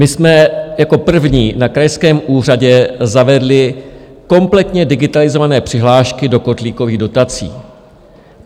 My jsme jako první na krajském úřadě zavedli kompletně digitalizované přihlášky do kotlíkových dotací.